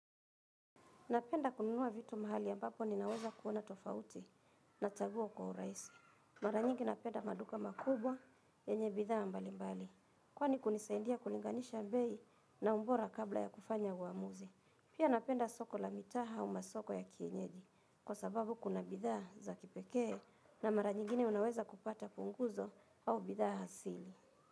Napenda kununua vitu mahali ambapo ninaweza kuona tofauti nachagua kwa uraisi. Mara nyingi napenda maduka makubwa yenye bidhaa mbali mbali. Kwani kunisaidia kulinganisha bei na ubora kabla ya kufanya uamuzi. Pia napenda soko la mitaa au masoko ya kienyeji. Kwa sababu kuna bidhaa za kipekee na mara nyingine unaweza kupata punguzo au bidhaa hasili.